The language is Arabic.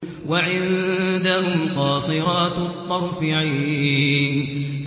وَعِندَهُمْ قَاصِرَاتُ الطَّرْفِ عِينٌ